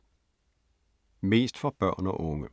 Mest for børn og unge